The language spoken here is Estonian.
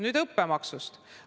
Nüüd õppemaksust.